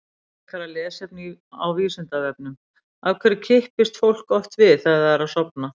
Frekara lesefni á Vísindavefnum: Af hverju kippist fólk oft við þegar það er að sofna?